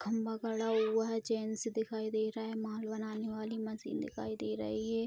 खम्बा गड़ा हुआ है जेंट्स दिखाई दे रहा है माल बनाने वाली मशीन दिखाई दे रही है।